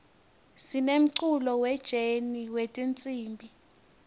sinemculo we jeni wetinsimb